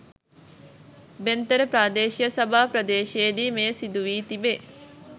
බෙන්තර ප්‍රාදේශීය සභා පරිශ්‍රයේදී මෙය සිදුවී තිබේ.